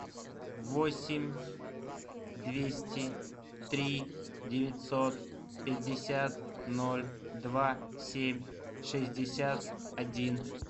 восемь двести три девятьсот пятьдесят ноль два семь шестьдесят один